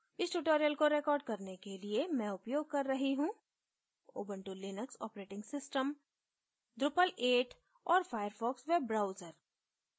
इस tutorial को record करने के लिए मैं उपयोग कर रही हूँ Ubuntu Linux operating system drupal 8 और firefox वेब ब्राउजर